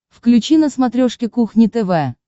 включи на смотрешке кухня тв